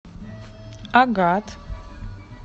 агат